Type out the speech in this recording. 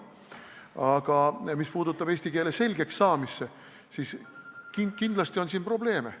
Aga mis puudutab eesti keele selgeks saamist, siis kindlasti on sellega probleeme.